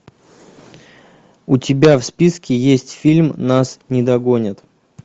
у тебя в списке есть фильм нас не догонят